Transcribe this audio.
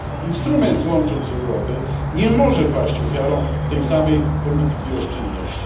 Instrument Łącząc Europę nie może paść ofiarą tej samej polityki oszczędności.